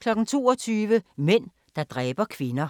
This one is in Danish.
22:00: Mænd, der dræber kvinder